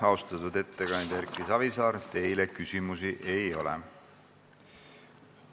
Austatud ettekandja Erki Savisaar, teile küsimusi ei ole.